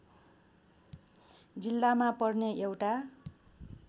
जिल्लामा पर्ने एउटा